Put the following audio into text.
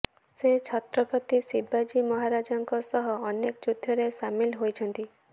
ସେ ଛତ୍ରପତି ଶିବାଜୀ ମହାରାଜଙ୍କ ସହ ଅନେକ ଯୁଦ୍ଧରେ ସାମିଲ୍ ହୋଇଛନ୍ତି